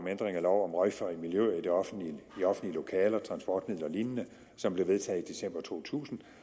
ændring af lov om røgfri miljøer i offentlige lokaler transportmidler og lignende som blev vedtaget i december to tusind